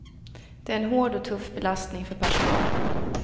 Det är en hård och tuff belastning för personalen.